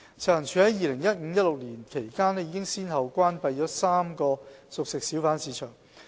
食環署於 2015-2016 年度期間，已先後關閉了3個熟食小販市場。